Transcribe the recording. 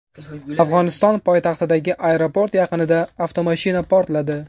Afg‘oniston poytaxtidagi aeroport yaqinida avtomashina portladi.